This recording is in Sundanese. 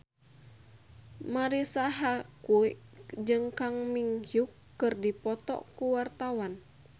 Marisa Haque jeung Kang Min Hyuk keur dipoto ku wartawan